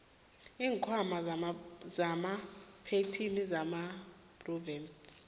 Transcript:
iinkhwama zamapentjhini nezamaphrovidenti